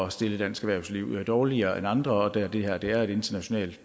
at stille dansk erhvervsliv dårligere end andre og da det her er et internationalt